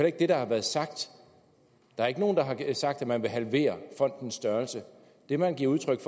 ikke det der er blevet sagt der er ikke nogen der har sagt at man vil halvere fondens størrelse det man giver udtryk